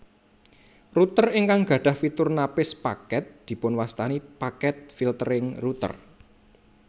Router ingkang gadhah fitur napis paket dipunwastani packet filtering router